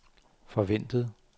forventet